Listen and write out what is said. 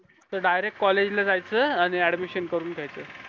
direct college लाजायचं आणि admission करून घेयचा